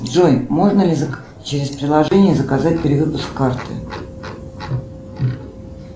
джой можно ли через приложение заказать перевыпуск карты